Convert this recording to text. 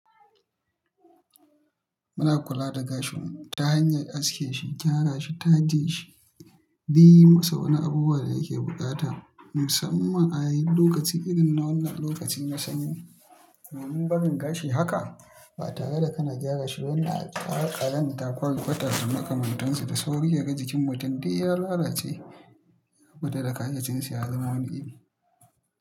Muna kula da gashin mu ta hanyar aske shi, gyara shi, taje shi, yi masa wani abubuwan da yake buƙata musamman a yin lokaci irin na wannan lokaci na sanyi. Domin barin gashi haka ba tare da kana gyara shi ba yana kawo ƙazanta ƙwar kwata da makamantansu da sauri yake ga jikin mutum dai ya lalace guda da kayyacinsa ya zama wani iri.